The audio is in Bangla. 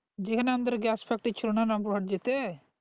যেখানে আমাদের gas factory ছিল না রামপুরহাট যেতে